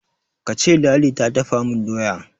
kace ladi ta dafa min doya!